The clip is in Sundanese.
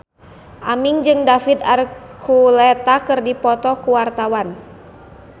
Aming jeung David Archuletta keur dipoto ku wartawan